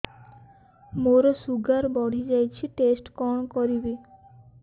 ମୋର ଶୁଗାର ବଢିଯାଇଛି ଟେଷ୍ଟ କଣ କରିବି